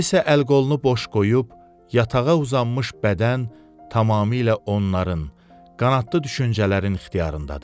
İndi isə əl-qolunu boş qoyub, yatağa uzanmış bədən tamamilə onların, qanadlı düşüncələrin ixtiyarındadır.